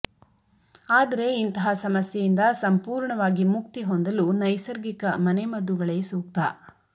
ಆದರೆ ಇಂತಹ ಸಮಸ್ಯೆಯಿಂದ ಸಂಪೂರ್ಣವಾಗಿ ಮುಕ್ತಿಹೊಂದಲು ನೈಸರ್ಗಿಕ ಮನೆ ಮದ್ದುಗಳೇ ಸೂಕ್ತ